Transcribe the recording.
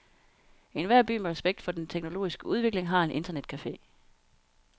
Enhver by med respekt for den teknologiske udvikling har en internetcafe.